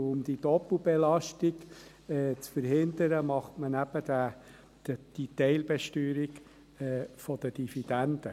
Um diese Doppelbelastung zu verhindern, macht man eben die Teilbesteuerung der Dividenden.